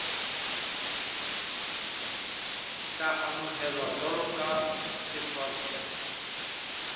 tla amohelwa jwalo ka setswantle